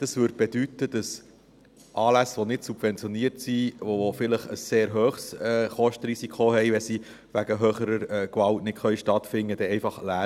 Denn es würde bedeuten, dass Anlässe, die nicht subventioniert sind und die vielleicht ein sehr hohes Kostenrisiko haben, einfach leer ausgingen, wenn sie wegen höherer Gewalt nicht stattfinden können.